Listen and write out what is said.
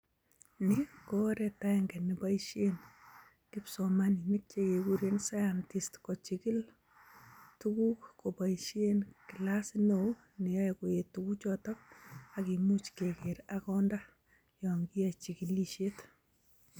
Ni ko oret agenge neboishen kipsomaninik chekeguren scientists kochigil tuguk koboishen kilasit neo neyoe koet tuguchoto ak kimuch keger ak konda yon kiyoe chigilisiet.